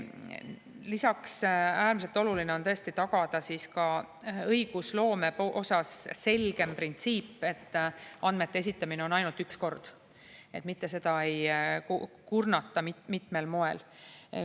Lisaks on äärmiselt oluline tagada õigusloome puhul selgem printsiip, et andmete esitamine on ainult üks kord, mitte seda ei kurnata mitmel moel.